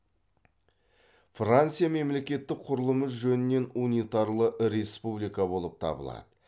франция мемлекеттік құрылымы жөнінен унитарлы республика болып табылады